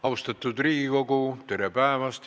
Austatud Riigikogu, tere päevast!